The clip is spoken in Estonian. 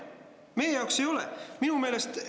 Meie jaoks ei ole!